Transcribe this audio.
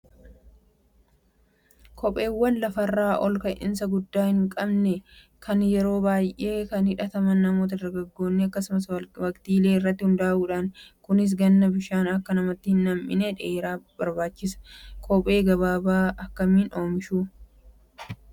Kopheewwan lafarraa ol ka'iinsa guddaa hin qabne yeroo baay'ee kan hidhataman namoota dargaggoon akkasumas waqtiilee irratti hundaa'uudhaani. Kunis Ganna bishaan Akka namatti hin nam'ine dheeraa barbaachisaa. Kophee gabaabaa akkamiin oomishuu?